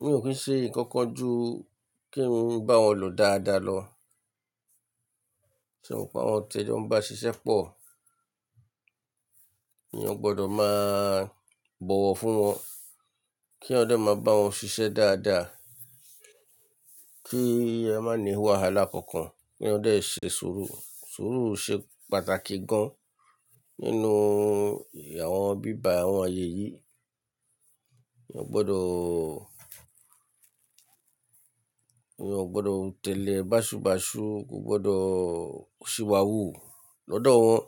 Mi ò kí ń ṣe nǹkan kan ju kí n bá wọn lò dáadáa lọ, ṣùgbọ́n àwọn ti e jo n bá ṣiṣẹ́ pọ̀, mi o gbọdọ̀ máa bọ̀wọ̀ fún wọn k'eyan de máa bá wọn ṣiṣẹ́ dáadáa, kí e má ní wàhálà kankan, k'eyan de ṣe sùúrù. Sùúrù ṣe pàtàkì gan nínú àwọn bíba àwọn ayẹ yìí. Eeyan o gbọdọ̀, eeyan ò gbọdọ̀ tẹ̀lé báṣubàṣu, kò gbọdọ̀ ṣìwàwú lọ́dọ̀ wọn,